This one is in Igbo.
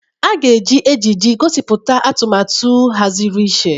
A ga-eji ejiji gosipụta atụmatụ ahaziri iche.